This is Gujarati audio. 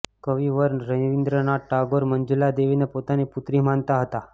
કવિવર રવીન્દ્રનાથ ટાગોર મંજુલા દેવીને પોતાની પુત્રી માનતા હતા